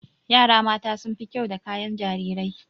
Yara mata sun fi kyau da kayan jarirai.